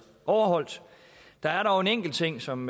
overholdt der er dog en enkelt ting som